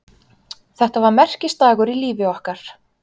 Þetta var merkisdagur í lífi okkar.